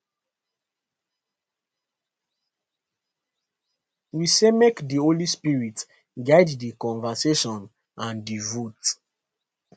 we say make di holy spirit guide di conversation and di vote